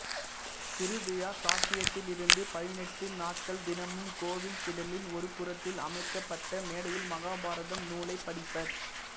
திருவிழா சாட்டியதிலிருந்து பதினெட்டு நாட்கள் தினமும் கோவில் திடலின் ஒரு புறத்தில் அமைக்கப்பட்ட மேடையில் மகாபாரதம் நூலைப் படிப்பர்